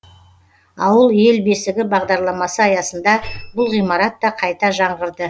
ауыл ел бесігі бағдарламасы аясында бұл ғимарат та қайта жаңғырды